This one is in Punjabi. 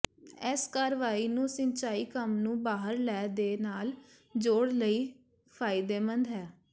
ਇਸ ਕਾਰਵਾਈ ਨੂੰ ਸਿੰਚਾਈ ਕੰਮ ਨੂੰ ਬਾਹਰ ਲੈ ਦੇ ਨਾਲ ਜੋੜ ਲਈ ਫਾਇਦੇਮੰਦ ਹੈ